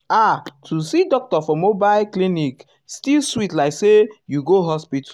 ah to see doctor for mobile uhm clinic still sweet like say you go hospital.